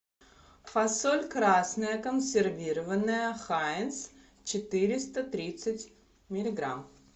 фасоль красная консервированная хайнс четыреста тридцать миллиграмм